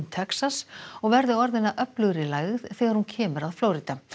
Texas og verði orðin að öflugri lægð þegar hún kemur að Flórída